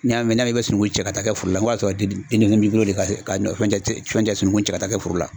N'i y'a mɛn n'i bɛ sunungun cɛ ka taa kɛ foro la nk'o y'a sɔrɔ denmisɛn b'i bolo le ka sunkun cɛ ka taa kɛ foro la.